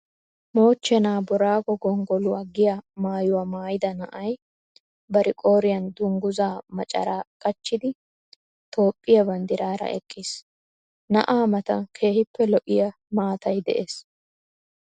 Moochcheena booraago gonggoluwa giya maayuwa maayida na'ay bari qooriyan dungguzaa macaraa qachchidi Toophphiyaa banddiraara eqqiis. Na'aa matan keehippe lo'iya maatay de'es.